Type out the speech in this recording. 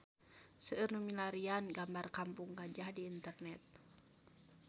Seueur nu milarian gambar Kampung Gajah di internet